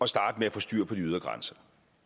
starte med at få styr på de ydre grænser